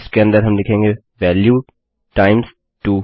इसके अन्दर हम लिखेंगे वैल्यू टाइम्स 2